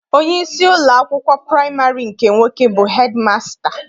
Onyeisi ụlọakwụkwọ praịmarị nke nwoke bụ hedịmasịta.